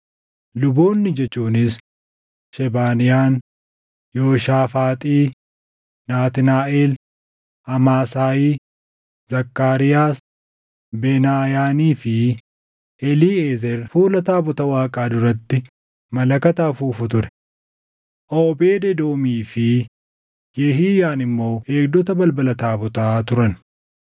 Luboonni jechuunis, Shebaniyaan, Yooshaafaaxi, Naatnaaʼel, Amaasaayi, Zakkaariyaas, Benaayaanii fi Eliiʼezer fuula taabota Waaqaa duratti malakata afuufu ture. Oobeed Edoomii fi Yehiyaan immoo eegdota balbala taabotaa turan.